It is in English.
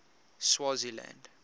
swaziland